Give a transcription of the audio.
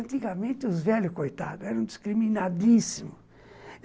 Antigamente, os velhos, coitados, eram discriminadíssimos.